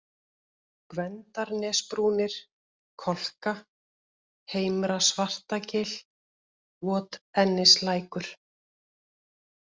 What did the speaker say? Gvendarnesbrúnir, Kolka, Heimra-Svartagil, Votennislækur